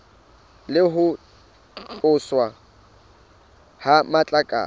le ho tloswa ha matlakala